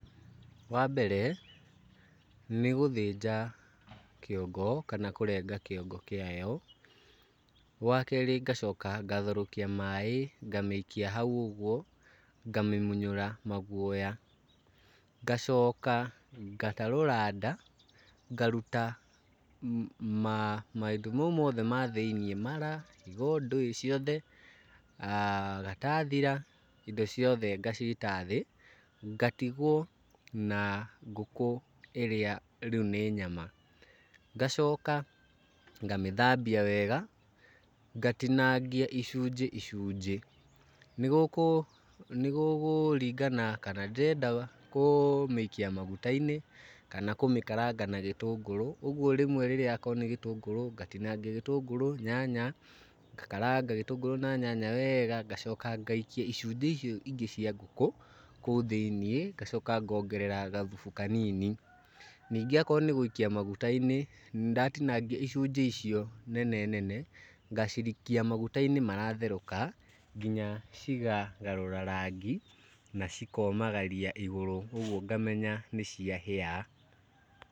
Wambere nĩ gũthĩnja kĩongo kana kũrenga kĩongo kĩayo. Wakerĩ ngacoka ngatherũkia maĩ ngamĩikia hau ũguo ngamĩmunyũra maguoya. Ngacoka ngatarũra nda ngaruta maũndũ mau mothe ma thĩiniĩ, mara, higo ndũĩ ciothe, gatathira, indo ciothe ngacita thĩ ngatigwo na ngũkũ ĩrĩa rĩu nĩ nyama. Ngacoka ngamĩthambia wega ngatinangia icunjĩ icunjĩ. Nĩ gũkũ nĩgũkũkingana kana ndĩrenda kũmĩikia maguta-inĩ kana kũmĩkaranga na gĩtũngũrũ. Ũguo rĩmwe rĩrĩa akorwo nĩ gĩtũngũrũ ngatinangia gĩtũngũrũ, nyanya, ngakaranga gĩtũngũrũ na nyanya weega, ngacoka ngaikia icunjĩ icio ingĩ cia ngũkũ kũu thĩiniĩ, ngacoka ngongerera gathubu kanini. Ningĩ akorwo nĩ gũikia maguta-inĩ, ndatinangia icunjĩ icio nene nene, ngacirikia maguta-inĩ maratherũka nginya cikagarũra rangi na cikomagaria igũrũ. Ũguo ngamenya nĩ cia hĩa